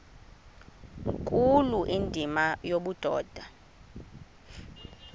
nkulu indima yobudoda